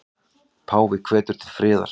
Páfi hvetur til friðar